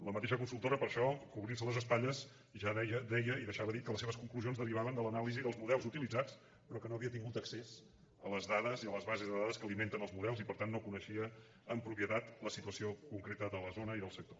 la mateixa consultora per això cobrintse les espatlles ja deia i deixava dit que les seves conclusions derivaven de l’anàlisi dels models utilitzats però que no havia tingut accés a les dades i a les bases de dades que alimenten els models i per tant no coneixia amb propietat la situació concreta de la zona ni del sector